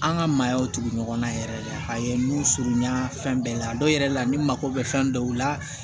An ka maayaw tugu ɲɔgɔn na yɛrɛ a ye nun surunya fɛn bɛɛ la a dɔw yɛrɛ la ni mako bɛ fɛn dɔw la